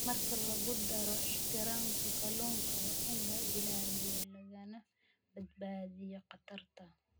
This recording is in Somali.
Marka lagu daro ixtiraamka kalluunka, waa in la ilaaliyo lagana badbaadiyo khatarta.